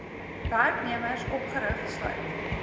werknemers opgerig sluit